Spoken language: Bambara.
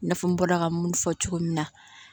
I n'a fɔ n bɔra ka minnu fɔ cogo min na